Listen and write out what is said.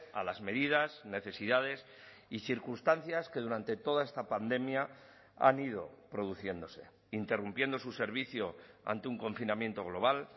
a las medidas necesidades y circunstancias que durante toda esta pandemia han ido produciéndose interrumpiendo su servicio ante un confinamiento global